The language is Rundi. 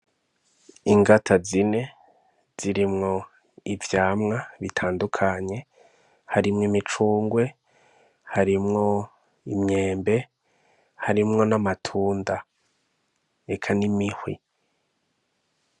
Ingata zine zirimwo ivyamwa bitandukanye harimw'imicunrwe , harimwo imyembe , harimwo n'amatunda eka n'imihwi.